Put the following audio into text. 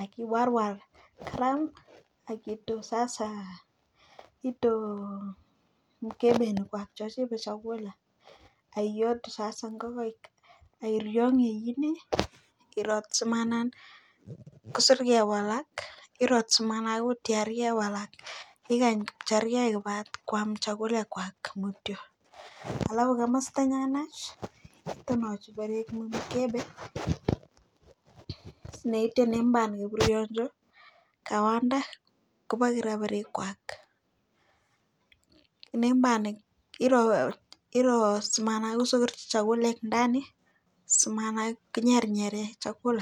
akiwarwar kiram akitu sasa ito [mkebe nekichobe chakula akiyotu sasa ngokaik akirongji kimik akchemanan kosir kei walak irat simaratyewalak ikany pchargei kwam chakulek mutyo alafu komastanyunech temasikonyoir mkebe neitene mbar kibrionjo kawande koborikirob kwak iro simasokoronji chakulek ndani simaki nyernyere chakula.